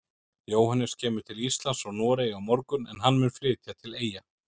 Jóhannes kemur til Íslands frá Noregi á morgun en hann mun flytja til Eyja.